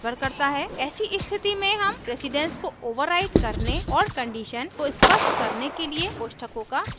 ऐसी स्थिति में हम precedence को overwrite करने और condition को स्पष्ट करने के लिए कोष्ठकों का प्रयोग करते हैं